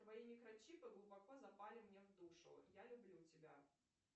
твои микрочипы глубоко запали мне в душу я люблю тебя